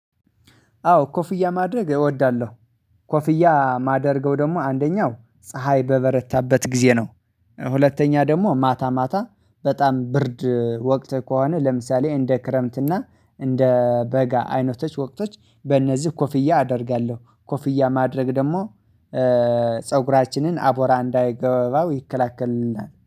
አዎ ኮፍያ ማድረግ እወዳለሁ። ኮፍያ ማደርገው ደግሞ አንደኛው ፀሀይ በበረታበት ጊዜ ነው። ሁለተኛ ደግሞ ማታ ማታ በጣም ብርድ ወቅት ከሆነ ለምሳሌ እንደ ክረምት እና እንደ በጋ አይነቶች ወቅቶች በእነዚህ ኮፍያ አደርጋለሁ ኮፍያ ማድረግ ደግሞ ፀጉራችንን አቧራ እንዳይገባው ይከለክልናል